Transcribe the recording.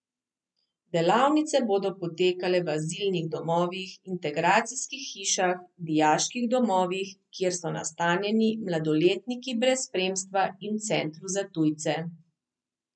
Delavnice bodo potekale v azilnih domovih, integracijskih hišah, dijaških domovih, kjer so nastanjeni mladoletniki brez spremstva in v centru za tujce.